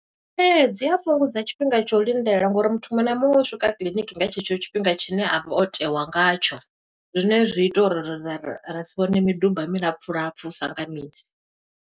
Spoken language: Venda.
Ee, dzi a fhungudza tshifhinga tsha u lindela ngo uri muthu muṅwe na muṅwe, u swika kiḽiniki nga tshe tsho tshifhinga tshine a vha o tewa nga tsho. Zwine zwi ita uri ri si vhone miduba milapfu lapfu sa nga misi.